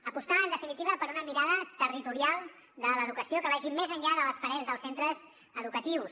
apostar en definitiva per una mirada territorial de l’educació que vagi més enllà de les parets dels centres educatius